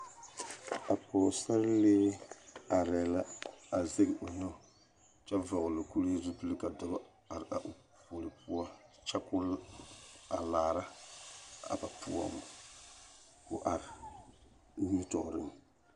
A pɔɔsarelee arɛɛ la a zɛge o nu kyɛ vɔgloo kuree zupil ka dɔbɔ are o puori poɔ kyɛ koo a laara a ba poɔŋ koo are nimitɔɔreŋ.